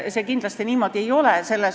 See kindlasti niimoodi ei ole.